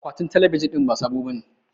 Akwatin talabijin din ba sabo bane